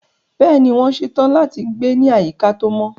Bẹ́ẹ̀ni, wọ́n ṣe tán láti gbé ní àyíká tó mọ́.